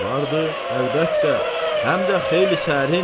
Vardı, əlbəttə, həm də xeyli sərin.